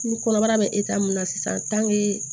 Ni kɔnɔbara bɛ mun na sisan